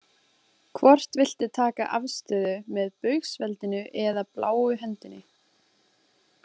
Hvort viltu taka afstöðu með Baugsveldinu eða bláu hendinni?